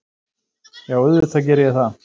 Já, auðvitað geri ég það.